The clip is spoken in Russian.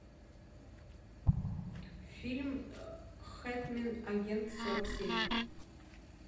фильм хитмэн агент сорок семь